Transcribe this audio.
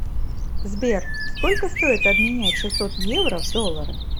сбер сколько стоит обменять шестьсот евро в доллары